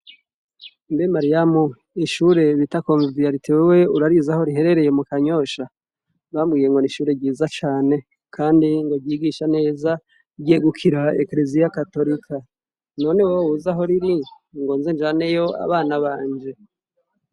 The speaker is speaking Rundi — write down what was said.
Mbe mariyamu ishuri bita komviyarite urarizi aho rihereye mu kanyosha ? bambwiye ngo n'ishuri ryiza cane kandi ngo ryigisha neza ryegugikira ekereziya gatorika none woba uzi ahoriri ngo nze njaneyo abana banje.